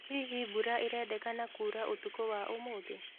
hĩhĩ mbura irendekana kũura ũtũkũ wa umuthi